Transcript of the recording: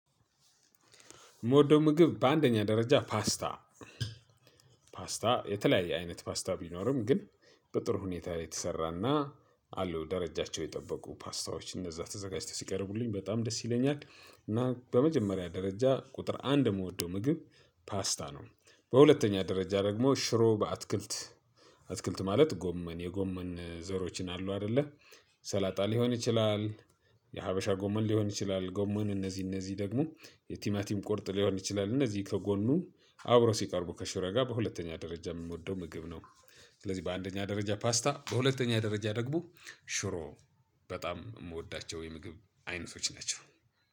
ምወደው ምግብ በአንደኛ ደረጃ ፓስታ ፓስታ የተለያየ አይነት ፓስታ ቢኖርም ግን በጥሩ ሁኔታ ላይ የተሰራና አሉ ደረጃቸው የጠበቁ ፓስታዎች እነዛ ተዘጋጅተው ሲቀርቡልኝ በጣም ደስ ይለኛል። እና በመጀመሪያ ደረጃ ቁጥር አንድ የምወደው ምግብ ፓስታ ነው። በሁለተኛ ደረጃ ደግሞ ሽሮ በአትክልት አትክልት ማለት ጎመን የጎመን ዘሮችን አሉ አይደለ ሰላጣ ሊሆን ይችላል። የሀበሻ ጎመን ሊሆን ይችላል ጎመን እነዚህ እነዚህ ደግሞ የቲማቲም ቁርጥ ሊሆን ይችላል እነዚህ ከጎኑ አብረው ሲቀርቡ ከሽሮ ጋር በሁለተኛ ደረጃ ምንወደው ምግብ ነው። ስለዚህ በአንደኛ ደረጃ ፓስታ በሁለተኛ ደረጃ ደግሞ ሽሮ በጣም ምወዳቸው የምግብ አይነቶች ናቸው።